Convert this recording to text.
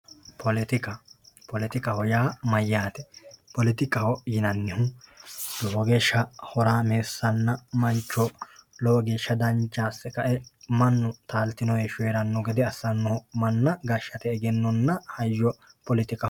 Politika, politikaho yaa mayyaate? politikaho yinannihu lowo geeshsha horaameessa assannoho, lowo geeshsha dancha ase kae mannu taaltino heeshsho hee'ranno gede assannoho, manna gashshate egennonna hayyo politikaho.